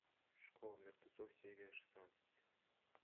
школа мертвецов серия шестнадцать